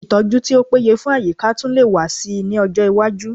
Ìtọ́jú tí ó péye fún àyíká tún lè wà síi ní ọjọ́ iwájú